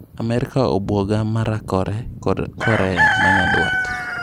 Amerka obuoga mar raakore kod Korea manyandwat.